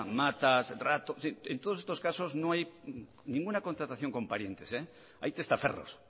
matas rato en todos estos casos no hay ninguna contratación con parientes hay testaferros